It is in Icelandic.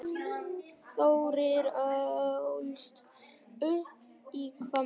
Þórir ólst upp í Hvammi.